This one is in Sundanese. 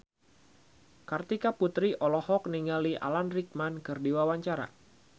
Kartika Putri olohok ningali Alan Rickman keur diwawancara